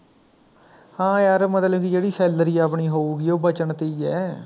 ਹਾਂ ਯਾਰ ਮਤਲਬ ਕੀ ਜਿਹੜੀ salary ਆਪਣੀ ਹੋਊਗੀ ਉਹ ਬਚਣ ਤੇ ਹੀ ਹੈ